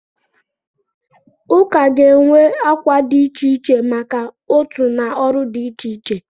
Ụka ga-enwe akwa dị iche iche maka otu na ọrụ dị iche iche.